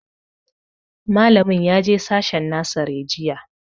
Malamin ya je sashen nasare jiya